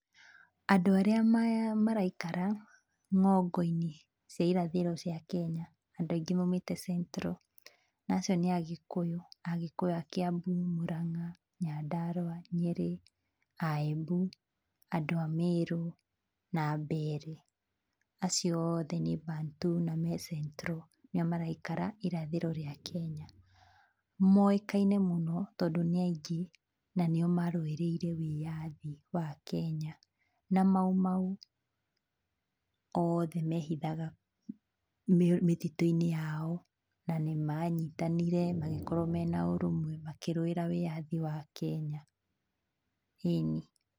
Andũ maraikara ng'ongo-inĩ cia irathĩro cia Kenya, andũ angĩ maumĩte Central, na acio nĩ Agĩkũyũ, Agĩkũyũ a Kĩambu, Mũrang'a, Nyandarua, Nyeri, a Embu, andũ a Mĩrũ na Mbeere. Acio othe nĩ Bantu na me Central nĩo maraikara irathĩro rĩa Kenya. Moĩkaine mũno tondũ nĩ aingĩ nanĩo marũĩrĩire wĩyathi wa Kenya. Na Maumau othe mehithaga mĩtitũ-inĩ yao na nĩ manyitanire magĩkorwo mena ũrũmwe makĩrũĩra wĩyathi wa Kenya, ĩni.